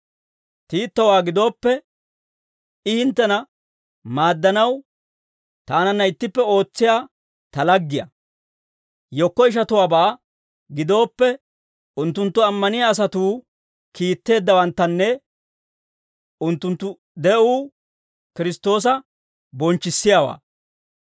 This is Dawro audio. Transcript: Tiitowaa gidooppe, I hinttena maaddanaw taananna ittippe ootsiyaa ta laggiyaa; yekko ishatuwaabaa gidooppe, unttunttu ammaniyaa asatuu kiitteeddawanttanne unttunttu de'uu Kiristtoosa bonchchissiyaawaa.